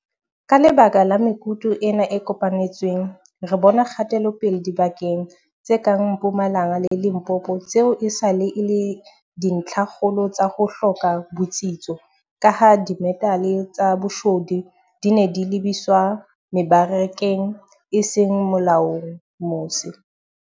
Ka lebaka la mekutu ena e kopanetsweng, re bona kgatelopele dibakeng tse kang Mpumalanga le Limpopo tseo esale e le dintlhakgolo tsa ho hloka botsitso kaha dimetale tsa boshodu di ne di lebiswa mebarakeng e seng molaong mose.